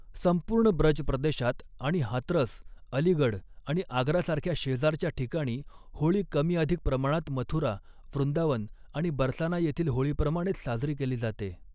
संपूर्ण ब्रज प्रदेशात आणि हातरस, अलीगढ आणि आग्रासारख्या शेजारच्या ठिकाणी, होळी कमी अधिक प्रमाणात मथुरा, वृंदावन आणि बरसाना येथील होळीप्रमाणेच साजरी केली जाते.